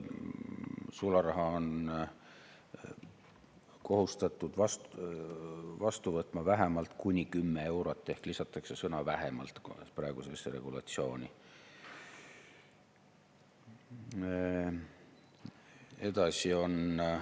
Sularaha on kohustatud vastu võtma vähemalt kuni 10 eurot ehk praegusesse regulatsiooni lisatakse sõna "vähemalt".